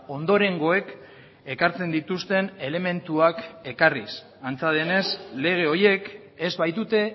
ondorengoek ekartzen dituzten elementuak ekarriz antza denez lege horiek ez baitute